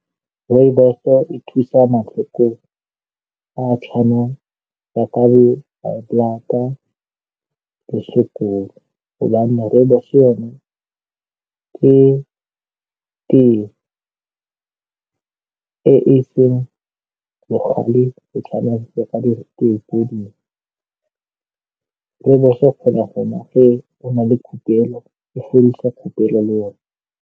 Rooibos-o e thusa matlhoko a a tshwanang jaka le high blata le sukiri hobane Rooibos yone ka teye e e seng bogale go tshwana . Rooibos-o kgona go nwa o na le khupelo, e fodisa khupelo le yone.